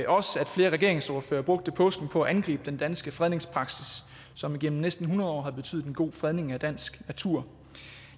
flere regeringsordførere brugte påsken på at angribe den danske fredningspraksis som igennem næsten hundrede år har betydet en god fredning af dansk natur